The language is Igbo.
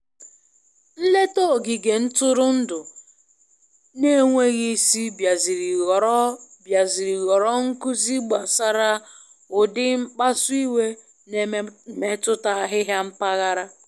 Nleta ogige ntụrụndụ na-enweghị isi biaziri ghọrọ biaziri ghọrọ nkuzi gbasara ụdị mkpasu iwe na emetụta ahịhịa mpaghara.